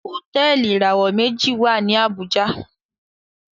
Hotẹẹli ìràwọ meji wá ní Abuja.